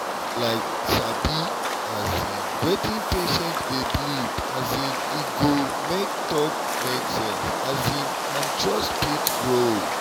like sabi um wetin patient dey believe um e go make talk make sense um and trust fit grow.